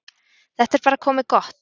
Þetta er bara komið gott.